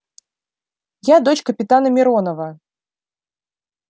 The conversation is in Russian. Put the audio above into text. я дочь капитана миронова